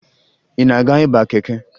Ị na-aga ịba keke?